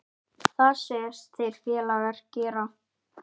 Það segjast þeir félagar gera.